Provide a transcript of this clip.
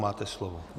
Máte slovo.